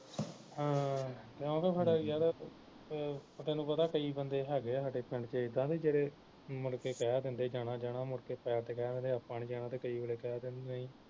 ਹਮ ਕਿਉਕਿ ਫਿਰ ਯਾਰ ਅਹ ਤੈਨੂੰ ਪਤਾ ਕਈ ਬੰਦੇ ਹੈਗੇ ਸਾਡੇ ਪਿੰਡ ਵਿਚ ਇੱਦਾਂ ਦੇ ਜਿਹੜੇ ਮੁੜਕੇ ਕਹਿ ਦਿੰਦੇ ਜਾਣਾ ਜਾਣਾ ਮੁੜਕੇ side ਤੇ ਕਹਿ ਦਿੰਦੇ ਆਪਾ ਨੀ ਜਾਣਾ ਤੇ ਕਈ ਵੇਲੇ ਕਹਿ ਦਿੰਦੇ ਞਹੀਂ